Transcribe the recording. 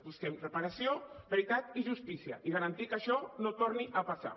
busquem reparació veritat i justícia i garantir que això no torni a passar